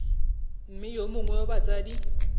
mme yo mongwe wa batsadi